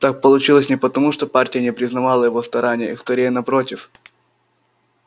так получилось не потому что партия не признавала его стараний скорее напротив